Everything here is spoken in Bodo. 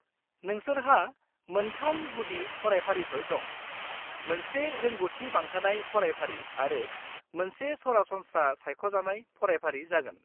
-नोंसोरहा मोनथाम गुदि फरायफारिफोर दं, मोनसे रोंग'थि बांहोनाय फरायफारि आरो मोनसे सरासनस्रा सायख'जानाय फरायफारि जागोन।